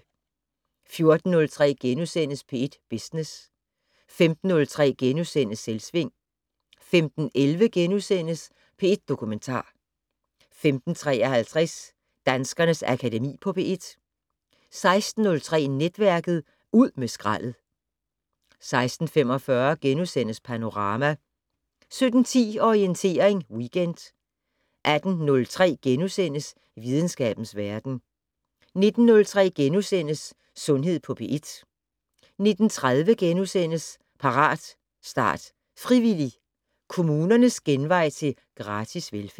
14:03: P1 Business * 15:03: Selvsving * 15:11: P1 Dokumentar * 15:53: Danskernes Akademi på P1 16:03: Netværket: Ud med skraldet 16:45: Panorama * 17:10: Orientering Weekend 18:03: Videnskabens Verden * 19:03: Sundhed på P1 * 19:30: Parat, start, frivillig! - Kommunernes genvej til gratis velfærd (3:3)*